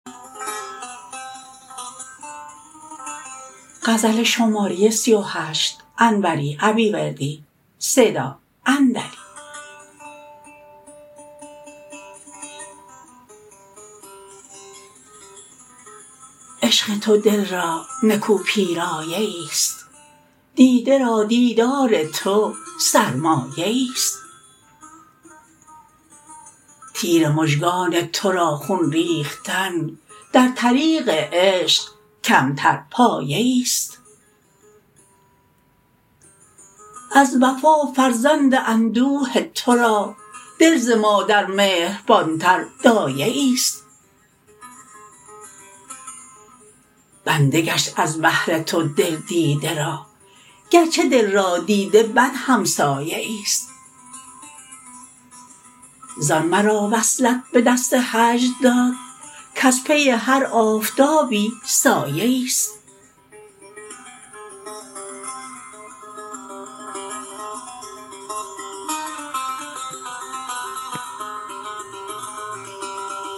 عشق تو دل را نکو پیرایه ایست دیده را دیدار تو سرمایه ایست تیر مژگان ترا خون ریختن در طریق عشق کمتر پایه ایست از وفا فرزند اندوه ترا دل ز مادر مهربانتر دایه ایست بنده گشت از بهر تو دل دیده را گرچه دل را دیده بد همسایه ایست زان مرا وصلت به دست هجر داد کز پی هر آفتابی سایه ایست